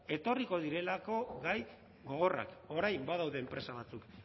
etorriko direlako gai gogorrak orain badaude enpresa batzuk